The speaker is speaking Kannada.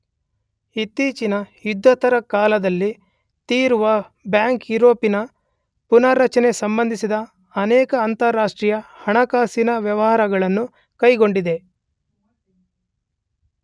ಇತ್ತೀಚಿನ ಯುದ್ಧೋತ್ತರ ಕಾಲದಲ್ಲಿ ತೀರುವೆ ಬ್ಯಾಂಕು ಯುರೋಪಿನ ಪುನಾರಚನೆಗೆ ಸಂಬಂಧಿಸಿದ ಅನೇಕ ಅಂತಾರಾಷ್ಟ್ರೀಯ ಹಣಕಾಸಿನ ವ್ಯವಹಾರಗಳನ್ನು ಕೈಗೊಂಡಿದೆ.